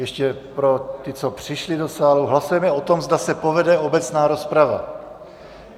Ještě pro ty, co přišli do sálu, hlasujeme o tom, zda se povede obecná rozprava.